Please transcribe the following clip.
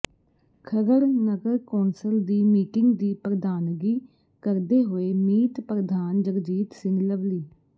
ਖਰੜ ਨਗਰ ਕੌਂਸਲ ਦੀ ਮੀਟਿੰਗ ਦੀ ਪ੍ਰਧਾਨਗੀ ਕਰਦੇ ਹੋਏ ਮੀਤ ਪ੍ਰਧਾਨ ਜਗਜੀਤ ਸਿੰਘ ਲਵਲੀ